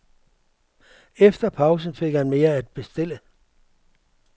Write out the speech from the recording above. Efter pausen fik han mere at bestille.